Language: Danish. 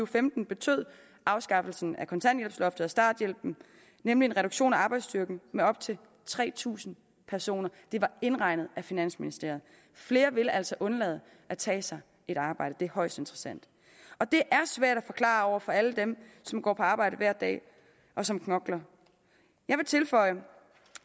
femten betød afskaffelsen af kontanthjælpsloftet og starthjælpen nemlig en reduktion af arbejdsstyrken med op til tre tusind personer det var indregnet af finansministeriet flere vil altså undlade at tage sig et arbejde det er højst interessant og det er svært at forklare over for alle dem som går på arbejde hver dag og som knokler jeg vil tilføje